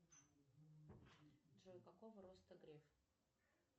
джой какого роста греф